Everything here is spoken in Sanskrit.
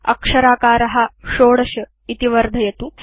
अक्षराकार 16 इति वर्धयतु